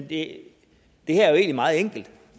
det her er jo meget enkelt